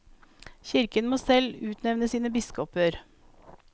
Kirken må selv få utnevne sine biskoper.